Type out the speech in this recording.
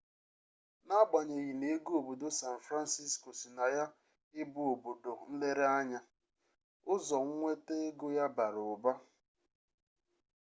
n'agbanyeghi na ego obodo san fransisko si na ya ịbụ obodo nlereanya ụzọ nweta ego ya bara ụba